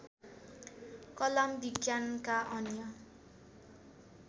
कलाम विज्ञानका अन्य